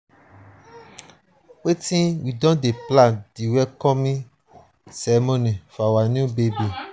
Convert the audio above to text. we don dey plan di welcoming ceremony for our new baby.